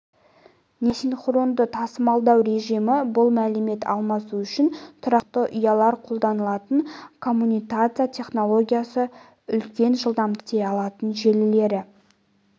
немесе асинхронды тасымалдау режимі бұл мәлімет алмасу үшін тұрақты ұзындықты ұялар қолданылатын коммутация технологиясы үлкен жылдамдықпен жұмыс істей алатын желілері